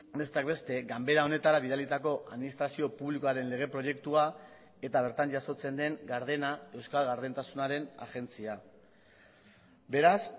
besteak beste ganbera honetara bidalitako administrazio publikoaren lege proiektua eta bertan jasotzen den gardena euskal gardentasunaren agentzia beraz